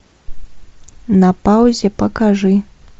на паузе покажи